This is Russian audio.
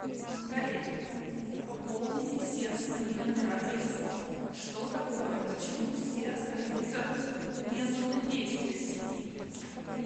коллеги пополните все свои номера телефонов что такое почему все остаются вне зоны действия сети